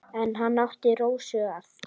En hann átti Rósu að.